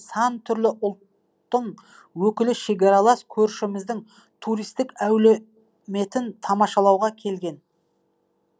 сан түрлі ұлттың өкілі шекаралас көршіміздің туристік әлеуметін тамашалауға келген